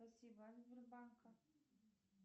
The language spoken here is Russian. спасибо от сбербанка